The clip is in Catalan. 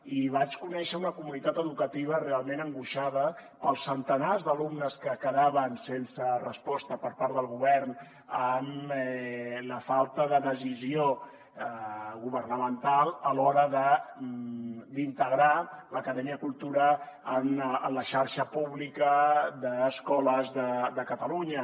i vaig conèixer una comunitat educativa realment angoixada pels centenars d’alumnes que quedaven sense resposta per part del govern amb la falta de decisió governamental a l’hora d’integrar l’acadèmia cultura en la xarxa pública d’escoles de catalunya